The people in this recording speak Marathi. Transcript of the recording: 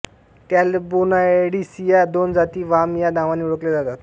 टॅलॅबोनॉयडीस या दोन जाती वाम या नावाने ओळखल्या जातात